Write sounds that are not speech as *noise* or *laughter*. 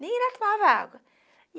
Nem *unintelligible* tomava água.